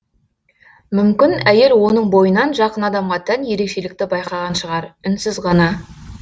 мүмкін әйел оның бойынан жақын адамға тән ерекшелікті байқаған шығар үнсіз ғана